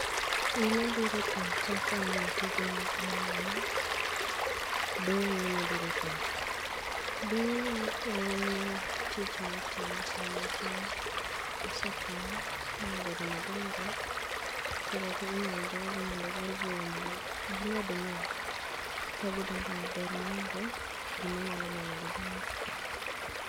Gima bire pacha kaneno tijni en ma ,doyo ema bire pacha ,doyo en tich ma itimo saa ma cham osekom ma obedo madongo koro inyal doo gi mondo ogol buya mondo gimed nyak kagindong'o maber maonge gima nyalo mono gi dong'o.